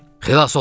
Xilas oldum!